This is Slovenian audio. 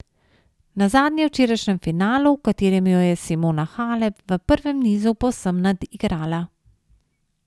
Nazadnje v včerajšnjem finalu, v katerem jo je Simona Halep v prvem nizu povsem nadigrala.